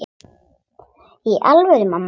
Í alvöru, mamma.